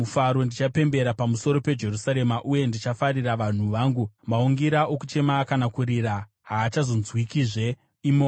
Ndichapembera pamusoro peJerusarema, uye ndichafarira vanhu vangu; maungira okuchema kana kurira haachazonzwikwazve imomo.